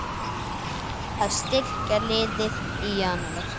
Að styrkja liðið í Janúar?